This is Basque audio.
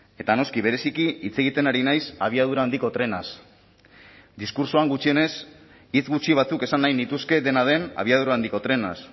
eta noski bereziki hitz egiten ari naiz abiadura handiko trenaz diskurtsoan gutxienez hitz gutxi batzuk esan nahi nituzke dena den abiadura handiko trenaz